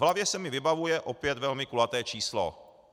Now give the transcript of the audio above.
V hlavě se mi vybavuje opět velmi kulaté číslo.